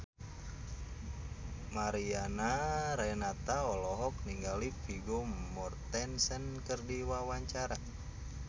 Mariana Renata olohok ningali Vigo Mortensen keur diwawancara